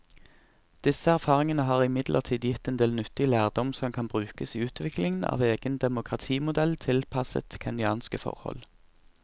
Disse erfaringene har imidlertid gitt en del nyttig lærdom som kan brukes i utviklingen av en egen demokratimodell tilpasset kenyanske forhold.